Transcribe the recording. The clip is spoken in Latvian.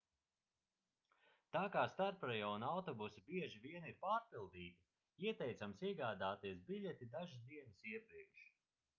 tā kā starprajonu autobusi bieži vien ir pārpildīti ieteicams iegādāties biļeti dažas dienas iepriekš